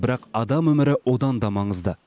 бірақ адам өмірі одан да маңызды